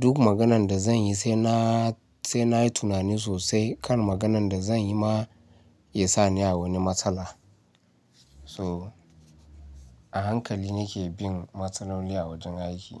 Duk maganan da zan yi sai na, sai nayi tunani sosai kan maganan da zan yi ma ya sa ni a wani matsala. So a hankali nake bin matsaloli a wajen aiki.